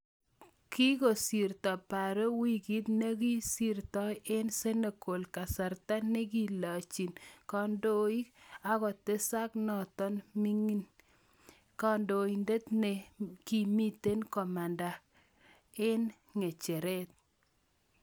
Kikisirto Barrow wikit ne ko sirtai eng Senegal kasarta ne kilechin kandoik apketeshanatok mining� kandoindet ne ki mitei komanda ge eng' ng'echeret